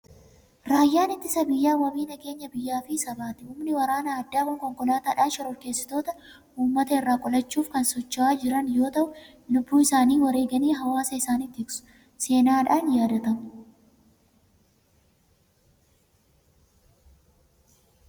Raayyaan ittisa biyyaa wabii nageenya biyyaa fi sabaati. Humni waraana addaa kun konkokaataadhaan shororkeessitoota uummata irraa qolachuuf kan socho'aa jiran yoo ta'u, lubbuu isaanii wareeganii hawaasa isaanii tiksu. Seenaadhaan yaadatamu.